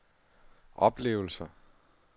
oplevelser